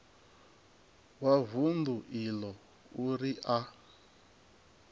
wa vundu iḽo uri a